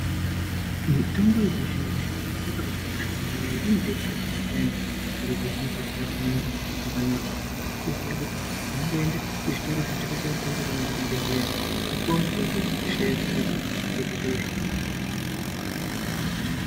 Mitombo yechizvino-zvino yakabakosha maningi ngekuti inobetsera anhu payani zviro pazvinenge zvisina kumira zvakanaka, kutoziya kuti inongoende kuzvitoro zvinotengeswa mitombo kana kuzvibhehleya wopuwa mutombo wosheyahenyika zvoita zviro zvakanaka.